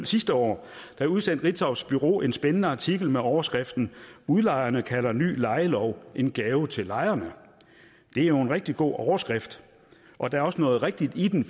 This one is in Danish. sidste år udsendte ritzaus bureau en spændende artikel med overskriften udlejerne kalder ny lejelov en gave til lejerne det er jo en rigtig god overskrift og der er også noget rigtigt i den